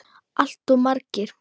Allt of margir.